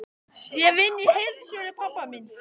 Ég vinn í heildsölu pabba míns.